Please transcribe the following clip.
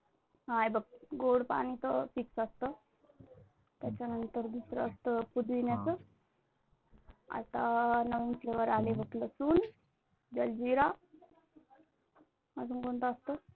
बघ गोड पाणी तर fix असतं. त्याच्या नंतर दुसरा असतं पुदिन्याच. आता नवीन flavor आलेला लसुन, जलजीरा, अजून कोणतं असतं